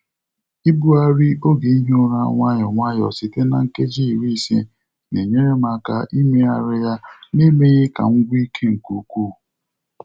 Ibugharị oge ihi ụra nwayọ nwayọ site na nkeji iri na ise na-enyere m aka imeghari na ya n'emeghị ka m gwụ ike nke ukwuu.